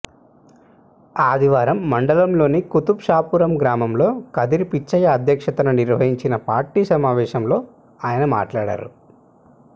ఆదివారం మండలంలోని కుతుబ్ షాపురం గ్రామంలో కదిరి పిచ్చయ్య అధ్యక్షతన నిర్వహించిన పార్టీ సమావేశంలో ఆయన మాట్లాడారు